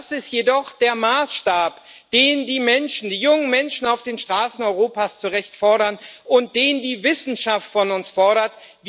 Das ist jedoch der Maßstab, den die Menschen die jungen Menschen auf den Straßen Europas zu Recht fordern und den die Wissenschaft von uns fordert.